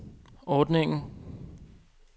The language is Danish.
ordningen